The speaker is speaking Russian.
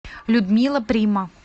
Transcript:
людмила прима